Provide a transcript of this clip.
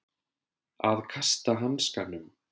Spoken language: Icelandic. Að kasta hanskanum